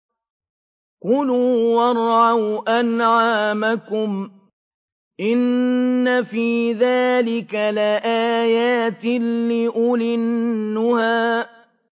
كُلُوا وَارْعَوْا أَنْعَامَكُمْ ۗ إِنَّ فِي ذَٰلِكَ لَآيَاتٍ لِّأُولِي النُّهَىٰ